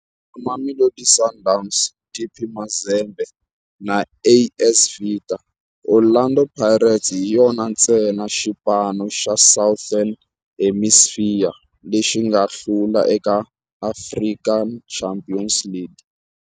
Na Mamelodi Sundowns, TP Mazembe na AS Vita, Orlando Pirates hi yona ntsena xipano xa Southern Hemisphere lexi nga hlula eka African Champions League.